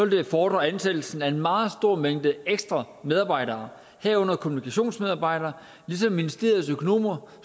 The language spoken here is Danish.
det fordre ansættelsen af en meget stor mængde ekstra medarbejdere herunder kommunikationsmedarbejdere ligesom ministeriets økonomer